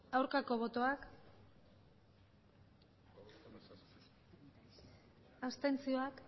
aurkako botoak abstentzioak